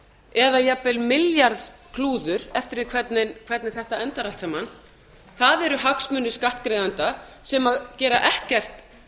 eða jafnvel milljarðs klúður eftir því hvernig þetta endar allt saman það eru hagsmunir skattgreiðenda sem gera ekkert